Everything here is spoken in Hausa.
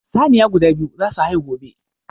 Saniya guda biyu za su haihu gobe.